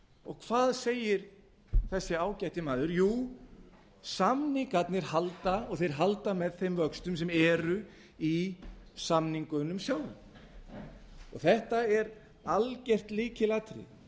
og hvað segir þessi ágæti áður jú samningarnir halda og þeir halda með þeim vöxtum sem eru í samningunum sjálfum þetta er algert lykilatriði